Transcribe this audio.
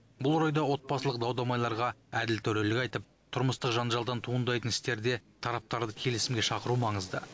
бұл орайда отбасылық дау дамайларға әділ төрелік айтып тұрмыстық жанжалдан туындайтын істерде тараптарды келісімге шақыру маңызды